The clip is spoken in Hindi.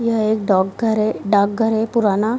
यह एक डॉकघर है डाकघर है पुराना --